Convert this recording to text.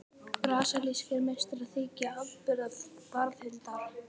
Brasilískir meistarar þykja afburða varðhundar.